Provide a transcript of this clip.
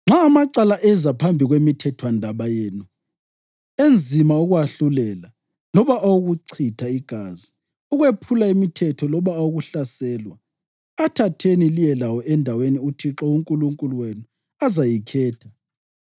“Nxa amacala eza phambi kwemithethwandaba yenu enzima ukuwahlulela, loba awokuchitha igazi, ukwephula imithetho loba awokuhlaselwa, athatheni liye lawo endaweni uThixo uNkulunkulu wenu azayikhetha.